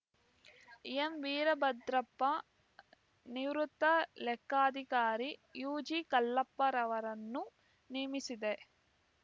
ಎಂವೀರಭದ್ರಪ್ಪ ನಿವೃತ್ತ ಲೆಕ್ಕಾಧಿಕಾರಿ ಯುಜಿಕಲ್ಲಪ್ಪರವರನ್ನು ನೇಮಿಸಿದೆ